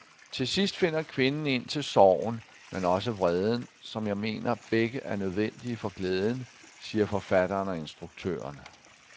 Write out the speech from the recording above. Til sidst finder kvinden ind til sorgen, men også vreden, som jeg mener, begge er nødvendige for glæden, siger forfatteren og instruktøren.